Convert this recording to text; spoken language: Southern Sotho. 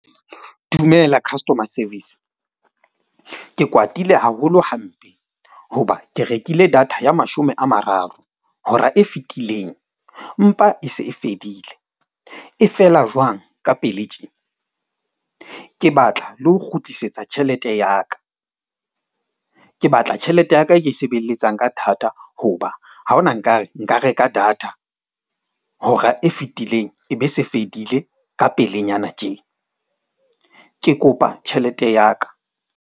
Dumela customer service. Ke kwatile haholo hampe hoba ke rekile data ya mashome a mararo, hora e fetileng empa e se e fedile. E fela jwang ka pele tje? Ke batla le ho kgutlisetsa tjhelete ya ka. Ke batla tjhelete ya ka e ke e sebeletsang ka thata hoba ha hona nka re nka reka data hora e fetileng ebe se fedile ka pelenyana tje. Ke kopa tjhelete ya ka.